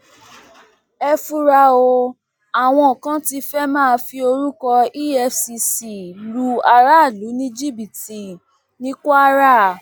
ẹ fura o àwọn kan tí fẹẹ máa fi orúkọ efcc lu aráàlú ní jìbìtì ní kwara